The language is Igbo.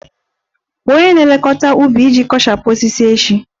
Kpọọ onye na-elekọta ubi iji kpochapụ osisi echi!